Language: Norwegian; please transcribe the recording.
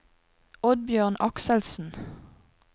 Oddbjørn Akselsen